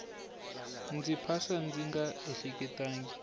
ndzi phasa ndzi nga ehleketangi